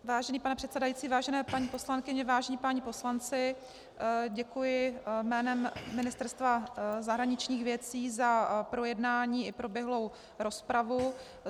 Vážený pane předsedající, vážené paní poslankyně, vážení páni poslanci, děkuji jménem Ministerstva zahraničních věcí za projednání i proběhlou rozpravu.